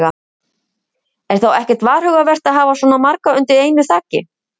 Er þá ekkert varhugavert að hafa svona marga undir einu þaki?